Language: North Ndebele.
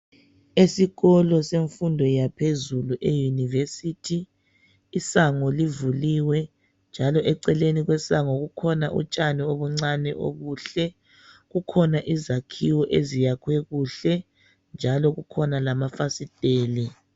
Esikolo semfundo yaphezulu eyunivesithi, isango livuliwe njalo eceleni kwesango kukhona utshani obuncane obuhle. Kukhona izakhiwo eziyakhiwe kuhle njalo kukhona lamafasiteli.